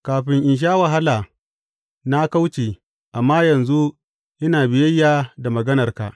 Kafin in sha wahala na kauce, amma yanzu ina biyayya da maganarka.